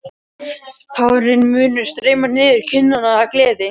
Tárin munu streyma niður kinnarnar af gleði.